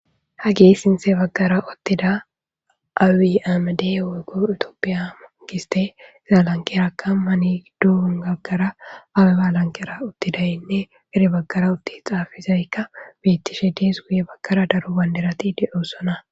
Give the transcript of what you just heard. Hagey sintha bagara uttida abiy ahimedey woyko tophiya gistey iza lanqera kame gidon issi bagara abeba lanqera uttidays gede bagara utti xaafizaysika betishe deesiko.